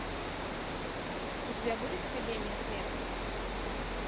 у тебя будет академия смерти